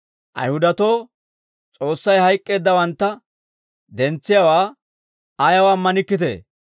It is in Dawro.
Ayihudatoo, S'oossay hayk'k'eeddawantta dentsiyaawaa ayaw ammanikkitee?